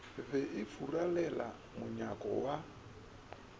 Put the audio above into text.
be e furalela monyako wa